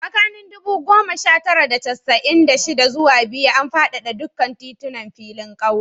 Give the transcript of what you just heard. Tsakanin ɗubu goma sha tara da casa'in da shida zuwa biyu, an fadada dukkan tituna da filin ƙauye